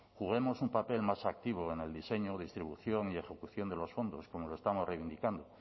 juguemos un papel más activo en el diseño distribución y ejecución de los fondos como lo estamos reivindicando